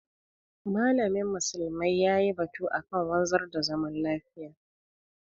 malamin musulmai yayi batu akan wanzar da zaman lafiya.